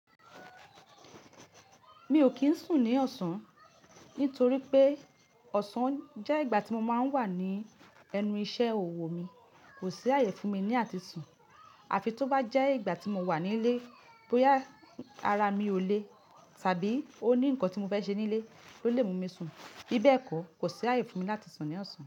Mi o kin sùn ní ọ̀sán nítorí pé ọ̀sán jẹ́ ìgbà tí mo máa ń wà ní ẹnu iṣẹ́ òwò mi, kò sí ààyè fún mi láti sùn. Àfi tó bá jẹ́ ìgbà tí mo wà nílé, bóyá ara mi ò lé ṣàbí ó ní nǹkan tí mo fẹ́ ṣe nílé ló lè mú mi sùn. Bibẹ̀ kọ̀, kò sí ààyè fún mi láti sùn ní ọ̀sán.